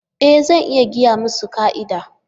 E! Zan iya gaya musu ka'ida.